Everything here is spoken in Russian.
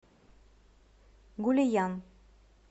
гулиян